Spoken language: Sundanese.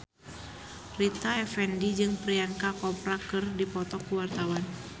Rita Effendy jeung Priyanka Chopra keur dipoto ku wartawan